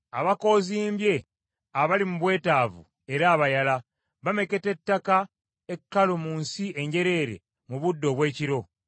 abakoozimbye abaali mu bwetaavu era abayala, bameketa ettaka ekkalu mu nsi enjereere mu budde obw’ekiro.